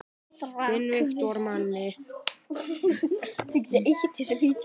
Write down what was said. Þinn Viktor Máni.